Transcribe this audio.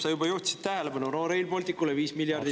Sa juba juhtisid tähelepanu, et Rail Balticule 5 miljardit …